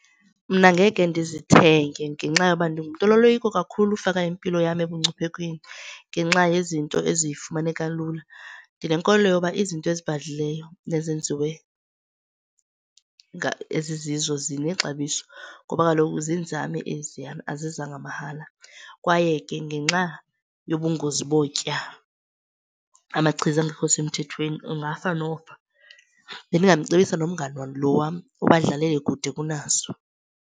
Mna ngeke ndizithenge ngenxa yoba ndingumntu onoloyiko kakhulu ufaka impilo yam ebungciphekweni ngenxa yezinto ezifumaneka lula. Ndinenkolelo yoba izinto ezibhadlileyo nezenziwe ezizizo zinexabiso ngoba kaloku ziinzame eziyana, azizanga mahala. Kwaye ke ngenxa yobungozi botya amachiza angekho semthethweni ungafa nofa. Bendingamcebisa nomngane lo wam uba udlalele kude kunazo.